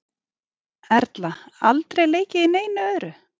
Erla: Aldrei leikið í neinu öðru?